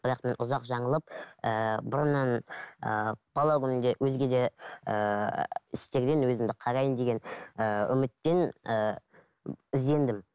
бірақ мен ұзақ жаңылып ііі бұрыннан ііі бала күнімде өзге де ііі істерден өзімді қараймын деген ііі үмітпен ііі іздендім